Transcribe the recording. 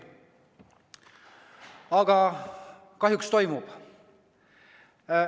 Aga kahjuks toimub.